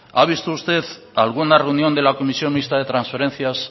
ha visto usted alguna reunión de la comisión mixta de transferencias